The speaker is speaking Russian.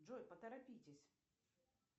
джой поторопитесь